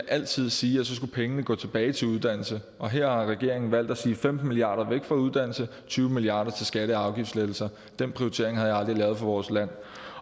altid sige at så skulle pengene gå tilbage til uddannelse og her har regeringen valgt at sige femten milliard kroner væk fra uddannelse tyve milliard kroner til skatte og afgiftslettelser den prioritering havde jeg aldrig lavet for vores land